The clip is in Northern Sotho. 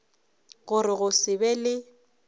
gore go se be le